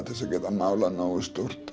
til að geta málað nógu stórt